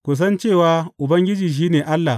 Ku san cewa Ubangiji shi ne Allah.